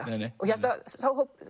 og